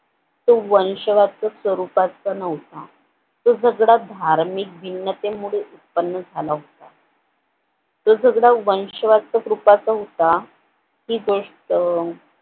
तो वंशवाच्या स्वरूपाचा नव्हता तो सगळा धार्मिक जिनतीमुळे उत्पन्न झाला होता तो सगळा वंशवादिक रूपाचा होता कि ते